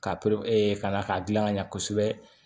Ka pere ka na k'a dilan ka ɲɛ kosɛbɛ